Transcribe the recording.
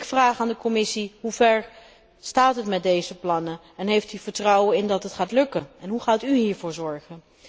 Ik vraag aan de Commissie hoever staat het met deze plannen en heeft u er vertrouwen in dat het gaat lukken, en hoe gaat u hiervoor zorgen?